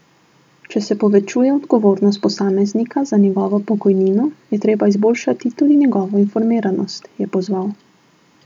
Če se povečuje odgovornost posameznika za njegovo pokojnino, je treba izboljšati tudi njegovo informiranost, je pozval.